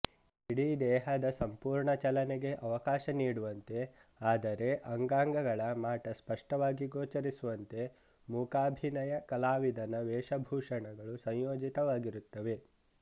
ಇಡೀ ದೇಹದ ಸಂಪೂರ್ಣ ಚಲನೆಗೆ ಅವಕಾಶ ನೀಡುವಂತೆ ಆದರೆ ಅಂಗಾಂಗಗಳ ಮಾಟ ಸ್ಪಷ್ಟವಾಗಿ ಗೋಚರಿಸುವಂತೆ ಮೂಕಾಭಿನಯ ಕಲಾವಿದನ ವೇಷಭೂಷಣಗಳು ಸಂಯೋಜಿತವಾಗಿರುತ್ತವೆ